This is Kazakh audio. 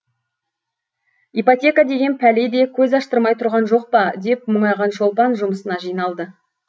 ипотека деген пәле де көз аштырмай тұрған жоқ па деп мұңайған шолпан жұмысына жиналды